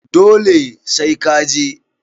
Dole sai ka je